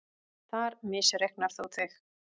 Þar misreiknar þú þig.